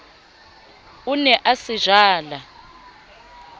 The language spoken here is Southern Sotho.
o ne a se jala